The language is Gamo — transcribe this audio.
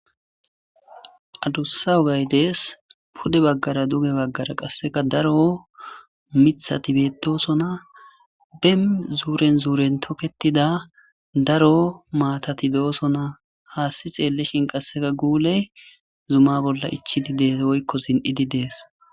adussa ogay dees pude baggara duge baggara qasseka daro mithatibeedosona bem zuuren zuuren toketida daro maatati doosona haasti xeelleshin qasseka guuley zuma bolla ichidi dees woykko sin7i di dees